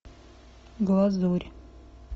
глазурь